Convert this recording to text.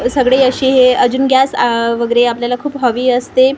सगळे अशे हे अजून गॅस वगैरे आपल्याला खूप हवी असते.